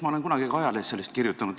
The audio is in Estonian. Ma olen kunagi ka ajalehes sellest kirjutanud.